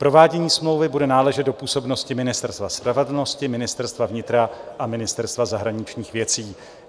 Provádění smlouvy bude náležet do působnosti Ministerstva spravedlnosti, Ministerstva vnitra a Ministerstva zahraničních věcí.